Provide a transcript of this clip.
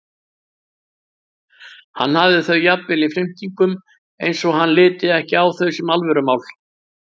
Hann hafði þau jafnvel í flimtingum eins og hann liti ekki á þau sem alvörumál.